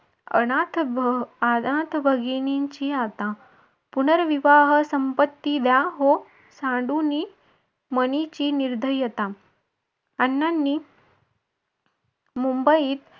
अनाथ भगिनींची आता पुनर्विवाह संपत्ती द्या हो सांडुनी मनीची निर्धयता अण्णांनी मुंबईत